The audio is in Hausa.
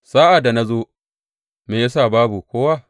Sa’ad da na zo, me ya sa babu kowa?